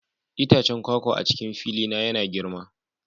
Itacen kwakwa a cikin fili na yana girma